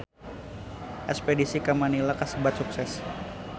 Espedisi ka Manila kasebat sukses